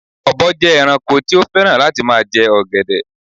Ọ̀bọ jẹ ẹranko tí ó fẹ́ràn láti ma jẹ ọ̀gẹ̀dẹ̀